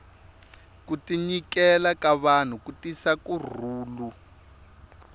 ku tinyikela ka vanhu ku tisa ku rhulu